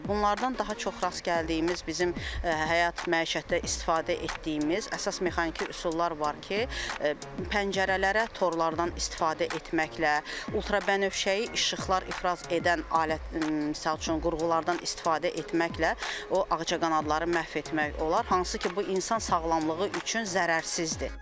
Bunlardan daha çox rast gəldiyimiz bizim həyat məişətdə istifadə etdiyimiz əsas mexaniki üsullar var ki, pəncərələrə torlardan istifadə etməklə, ultrabənövşəyi işıqlar ifraz edən alət misal üçün qurğulardan istifadə etməklə o ağcaqanadları məhv etmək olar, hansı ki, bu insan sağlamlığı üçün zərərsizdir.